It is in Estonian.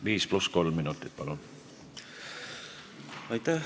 Viis pluss kolm minutit, palun!